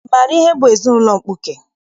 Ị maara ihe bụ ezinaụlọ mkpuke?